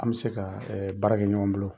An bɛ se ka baara kɛ ɲɔgɔn bolo.